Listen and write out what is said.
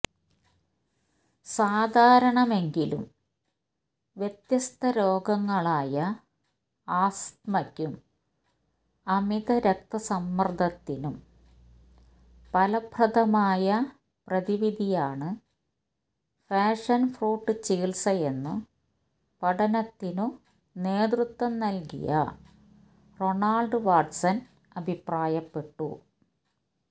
സാധാരണമെങ്കിലും വ്യത്യസ്തരോഗങ്ങളായ ആസ്തമയ്ക്കും അമിതരക്തസമ്മര്ദത്തിനും ഫലപ്രദമായ പ്രതിവിധിയാണ് പാഷന്ഫ്രൂട്ട് ചികിത്സയെന്നു പഠനത്തിനു നേതൃത്വം നല്കിയ റൊണാള്ഡ് വാട്ട്സണ് അഭിപ്രായപ്പെട്ടു